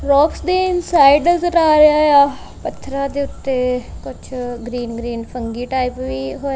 ਰੋਕਸ ਦੇ inside ਨਜ਼ਰ ਆ ਰਿਹਾ। ਪੱਥਰਾਂ ਦੇ ਉੱਤੇ ਕੁਛ ਗ੍ਰੀਨ ਫੰਗੀ ਟਾਈਪ ਵੀ ਹੋਏ --